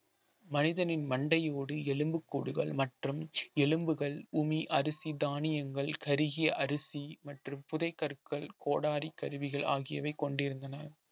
மனிதனின் மண்டையோடு எலும்புக்கூடுகள் மற்றும் எலும்புகள் உமி அரிசி தானியங்கள் கருகிய அரிசி மற்றும் புதை கற்கள் கோடாரி கருவிகள் ஆகியவை கொண்டிருந்தன